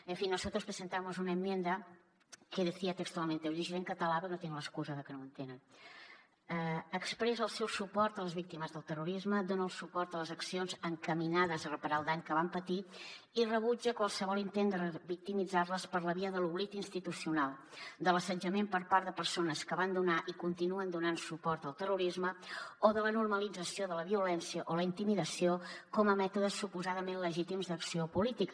en fin nosotros presentamos una enmienda que decía textualmente ho llegiré en català perquè no tinguin l’excusa de que no ho entenen expressa el seu suport a les víctimes del terrorisme dona el suport a les accions encaminades a reparar el dany que van patir i rebutja qualsevol intent de revictimitzar les per la via de l’oblit institucional de l’assetjament per part de persones que van donar i continuen donant suport al terrorisme o de la normalització de la violència o la intimidació com a mètodes suposadament legítims d’acció política